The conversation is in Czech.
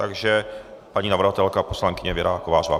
Takže paní navrhovatelka, poslankyně Věra Kovářová.